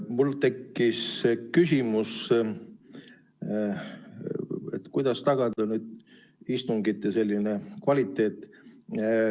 Mul tekkis küsimus, kuidas tagada istungite kvaliteet.